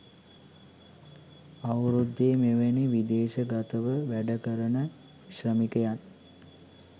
අවුරුද්දේ මෙවැනි විදේශගතව වැඩ කරන ශ්‍රමිකයන්